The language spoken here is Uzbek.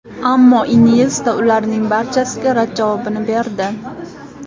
Ammo Inyesta ularning barchasiga rad javobini berdi.